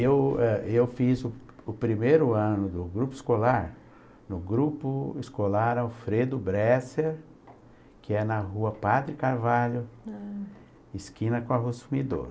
Eu ãh eu fiz o o primeiro ano do grupo escolar, no grupo escolar Alfredo Bresser, que é na Rua Padre Carvalho, esquina com a Rua Sumidouro.